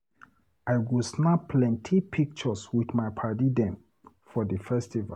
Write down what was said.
I go snap plenty pictures wit my paddy dem for di festival.